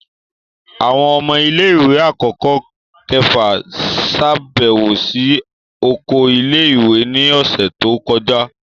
Awọn ọmọ ile-iwe akọkọ kẹfa ṣabẹwo si oko ile-iwe ni ọsẹ to kọja.